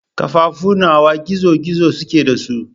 Kafafu nawa gizo-gizo suke da su?